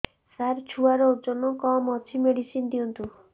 ସାର ଛୁଆର ଓଜନ କମ ଅଛି ମେଡିସିନ ଦିଅନ୍ତୁ